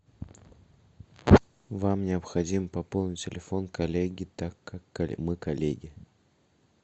вам необходимо пополнить телефон коллеги так как мы коллеги